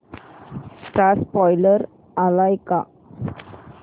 चा स्पोईलर आलाय का